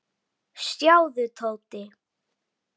Sjáðu, Tóti.